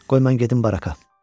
Qoy mən gedim baraka.